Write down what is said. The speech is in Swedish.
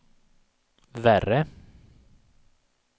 värre